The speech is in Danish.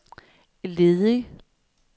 ledig